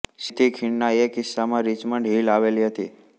સીધી ખીણના એક હિસ્સામાં રિચમન્ડ હિલ આવેલી હતી